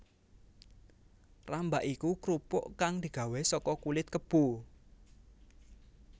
Rambak iku krupuk kang digawé saka kulit kebo